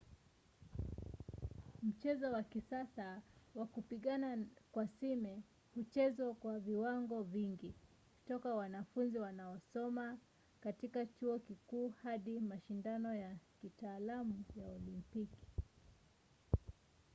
mchezo wa kisasa wa kupigana kwa sime huchezwa kwa viwango vingi toka wanafunzi wanaosoma katika chuo kikuu hadi mashindano ya kitaalamu na olimpiki